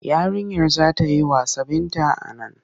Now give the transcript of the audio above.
Yarinyar za ta yi wasa Binta a nan.